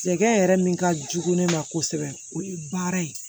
Sɛgɛn yɛrɛ min ka jugu ne ma kosɛbɛ o ye baara ye